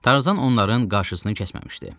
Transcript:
Tarzan onların qarşısını kəsməmişdi.